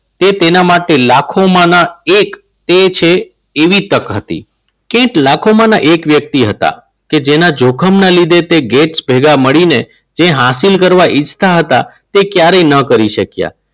એ તેના માટે લાખોમાં એક એ છે એવી તક હતી. કેન્ટ લાખોમાંના એક વ્યક્તિ હતા. કે જેના જોખમને લીધે તે ઘેર ભેગા મળીને જે હાંસિલ કરવા ઇચ્છતા હતા તે ક્યારેય ન કરી શક્યા.